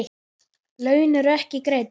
Laun eru ekki greidd.